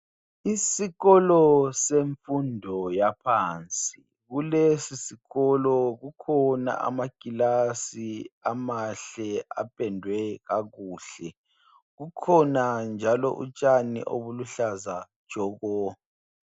Isikolo semfundo yaphansi. Kulesi sikolo kukhona amakilasi amahle apendwe kakuhle. Kukhona njalo utshani obuluhlaza tshoko.